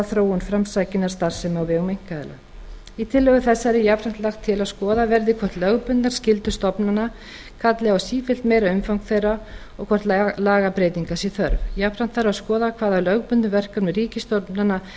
þróun framsækinnar starfsemi á vegum einkaaðila í tillögu þessari er jafnframt lagt til að skoðað verði hvort lögbundnar skyldur stofnana kalli á sífellt meira umfang þeirra og hvort lagabreytinga sé þörf jafnframt þarf að skoða hvað af lögbundnum verkefnum ríkisstofnana